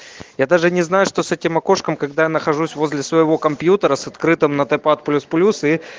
я даже не знаю что с этим окошком когда я нахожусь в возле своего компьютера с открытым этопат плюс плюс и